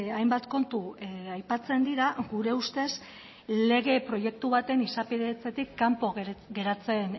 hainbat kontu aipatzen dira gure ustez lege proiektu baten izapidetzetik kanpo geratzen